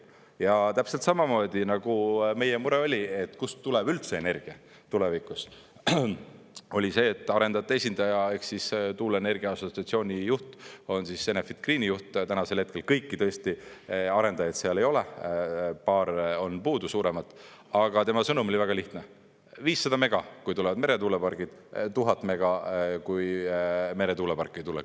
Ja täpselt samamoodi nagu meie mure oli, et kust tuleb üldse energia tulevikus, oli see, et arendajate esindaja ehk tuuleenergia assotsiatsiooni juht – ta on Enefit Greeni juht tänasel hetkel, kõiki arendajaid seal ei ole, paar on puudu suuremat –, tema sõnum oli väga lihtne: 500 mega, kui tulevad meretuulepargid, 1000 mega, kui meretuuleparke ei tule.